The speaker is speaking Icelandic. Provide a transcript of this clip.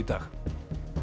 dag